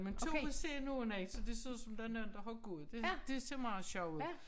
Men 2 ved siden af nogen så det er ud som om der nogen der har gået det dét ser meget sjovt ud